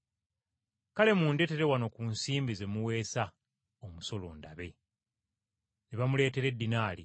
Kale, mundeetere wano ku nsimbi ze muweesa omusolo ndabe.” Ne bamuleetera eddinaali.